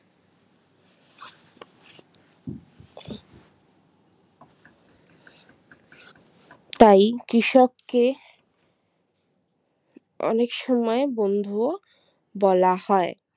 তাই কৃষককে অনেক সময় বন্ধুও বলা হয়